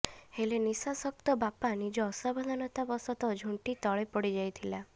ହେଲେ ନିଶା ଶକ୍ତ ବାପା ନିଜ ଅସାବଧାନତାଃ ବସତଃ ଝୁଣ୍ଟି ତଳେ ପଡ଼ିଯାଇଥିଲା